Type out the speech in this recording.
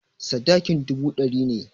Sadakin dubu ɗari ne.